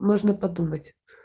можно подумать